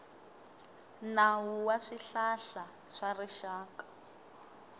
nawu wa swihlahla swa rixaka